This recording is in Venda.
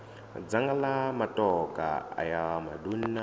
dzanga la matokha ayo maduna